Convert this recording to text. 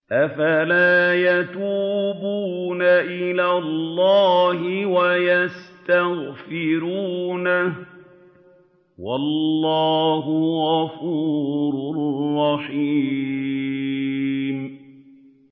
أَفَلَا يَتُوبُونَ إِلَى اللَّهِ وَيَسْتَغْفِرُونَهُ ۚ وَاللَّهُ غَفُورٌ رَّحِيمٌ